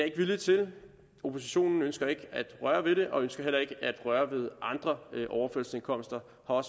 ikke vilje til oppositionen ønsker ikke at røre ved det ønsker heller ikke at røre ved andre overførselsindkomster og